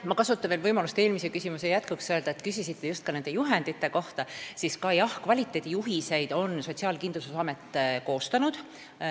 Ma kasutan võimalust öelda veel eelmise vastuse jätkuks – küsisite just nende juhendite kohta –, et jah, kvaliteedijuhiseid on Sotsiaalkindlustusamet koostanud.